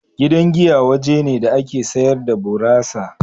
Gidan giya waje ne da ake sayar da burasa.